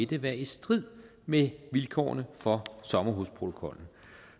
det være i strid med vilkårene for sommerhusprotokollen